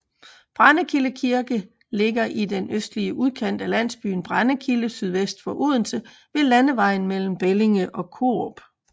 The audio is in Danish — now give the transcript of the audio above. Brændekilde Kirke ligger i den østlige udkant af landsbyen Brændekilde sydvest for Odense ved landevejen mellem Bellinge og Korup